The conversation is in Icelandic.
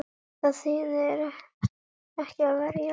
Þýðir ekki að verjast